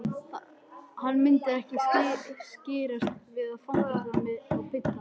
Hann myndi ekki skirrast við að fangelsa mig og pynta.